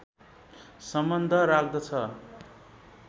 सम्बन्ध राख्दछ